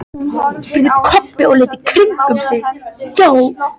spurði Kobbi og leit í kringum sig.